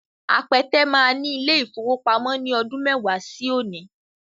Apẹtẹ máa ní ilé-ìfowópamọ́ ní ọdún mẹ́wàá sí òní